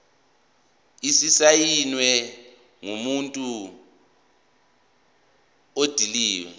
esisayinwe ngumuntu odilive